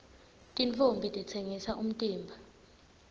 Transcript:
tintfombi titsengisa umtimba